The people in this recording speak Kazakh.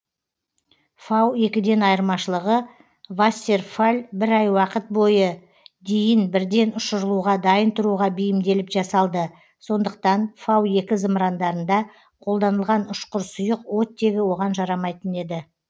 фау екіден айырмашылығы вассерфалль бір ай уақыт бойы дейін бірден ұшырылуға дайын тұруға бейімделіп жасалды сондықтан фау екі зымырандарында қолданылған ұшқыр сұйық оттегі оған жарамайтын еді